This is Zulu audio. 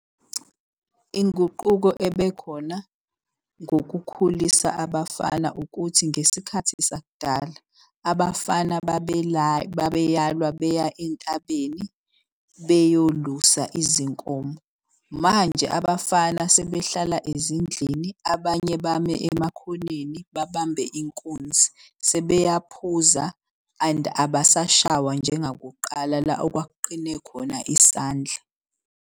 Inguquko ebekhona ngokukhulisa abafana ukuthi ngesikhathi sakudala abafana babeyalwa beya entabeni beyolusa izinkomo. Manje abafana sebehlala ezindlini, abanye bame emakhoneni babambe inkunzi. Sebeyaphuza and abasashawa njenga kuqala la okwakuqine khona isandla.